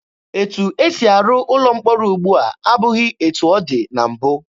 Etu esi arụ ụlọ mkpọrọ ugbua abụghị etu ọ dị na mbụ.